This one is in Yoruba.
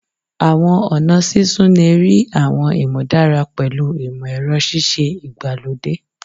Awọn ọna sisun le rii awọn imudara pẹlu imọ-ẹrọ sise igbalode